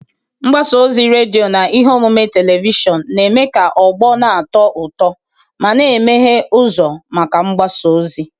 Mgbasa ozi redio na ihe omume telivishọn na-eme ka ọgbọ na-atọ ụtọ ma, na-emeghe ụzọ maka mgbasa ozi.